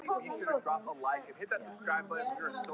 Vinir koma, vinir fara.